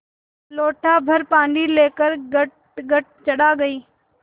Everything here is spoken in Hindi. लोटाभर पानी लेकर गटगट चढ़ा गई